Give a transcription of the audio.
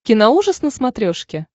киноужас на смотрешке